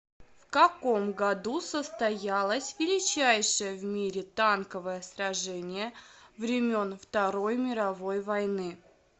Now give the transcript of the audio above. в каком году состоялось величайшее в мире танковое сражение времен второй мировой войны